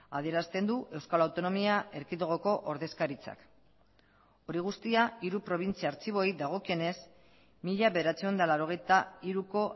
adierazten du euskal autonomia erkidegoko ordezkaritzak hori guztia hiru probintzia artxiboei dagokienez mila bederatziehun eta laurogeita hiruko